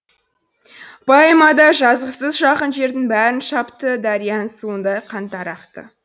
поэмада жазықсыз жақын жердің бәрін шапты дарияның суындай қандар ақты